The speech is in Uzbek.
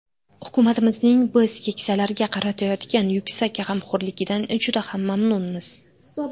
Hukumatimizning biz keksalarga qaratayotgan yuksak g‘amxo‘rligidan juda ham mamnunmiz.